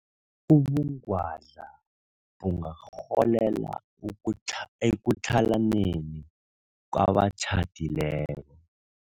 Ubungwadla bungarholela ukutlha ekutlhalaneni kwabatjhadileko.